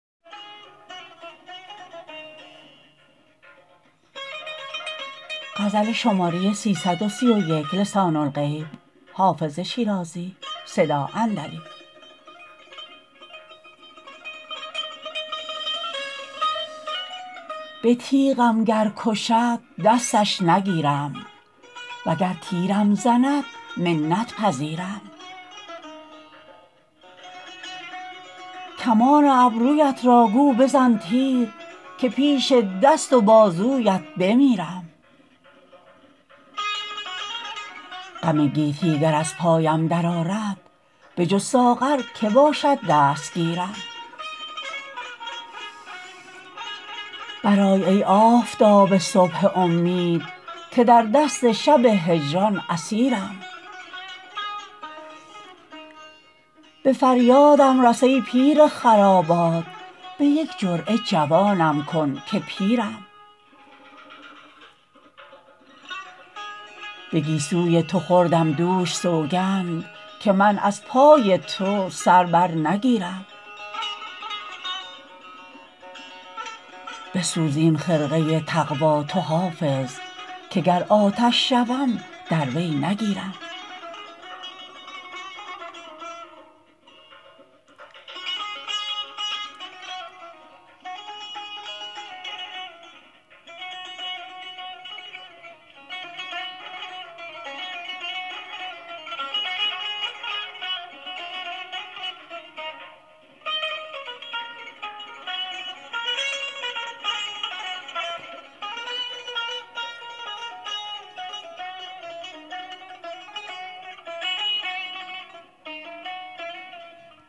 به تیغم گر کشد دستش نگیرم وگر تیرم زند منت پذیرم کمان ابرویت را گو بزن تیر که پیش دست و بازویت بمیرم غم گیتی گر از پایم درآرد بجز ساغر که باشد دستگیرم برآی ای آفتاب صبح امید که در دست شب هجران اسیرم به فریادم رس ای پیر خرابات به یک جرعه جوانم کن که پیرم به گیسوی تو خوردم دوش سوگند که من از پای تو سر بر نگیرم بسوز این خرقه تقوا تو حافظ که گر آتش شوم در وی نگیرم